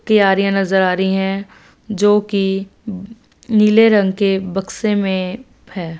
क्यारियां नजर आ रही है जोकि नीले रंग के बक्से में है।